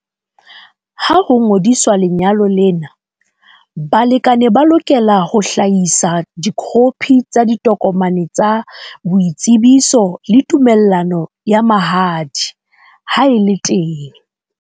Ha ho ngodiswa lenyalo lena, balekane ba lokela ho hlahisa dikhophi tsa ditokomane tsa boitsebiso le tumellano ya mahadi haeba e le teng.